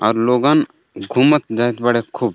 और लोगन घुमत बाड़े खूब.